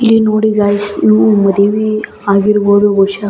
ಇಲ್ಲಿ ನೋಡಿ ಗೈಸ ಇವು ಮದುವಿ ಆಗಿರಬಹುದು ಬಹುಶ.